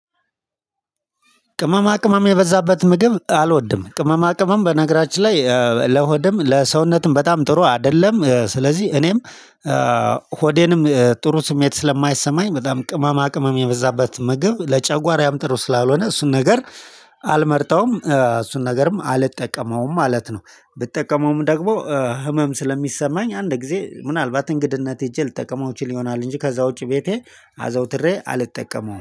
ቅመማ ቅመም የበዛበት ምግብ አልወድም ቅመማ ቅመም በነገራችን ላይ ለሆድም ለሰውነትም በጣም ጥሩ አይደለም። ስለዚህ እኔም ሆዴንም ጥሩ ስሜት ስለማይሰማኝ በጣም ቅመማ ቅመም የበዛበት ምግብ ለጨጓራዬ ያምጥሩ ስላልሆነ እሱን ነገር አልመርጠውም። እሱን ነገርም አልጠቀመውም ማለት ነው። ብጠቀመውም ደግሞ ህመም ስለሚሰማኝ አንድ ጊዜ ምናልባት እንግድነት ሄጄ ልጠቀመው እችል ይሆናል እንጂ ከዛ ውጪ ቤቴ አዘውትሬ አልጠቀመውም